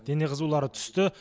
дене қызулары түсті